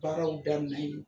Baaraw da minɛ yi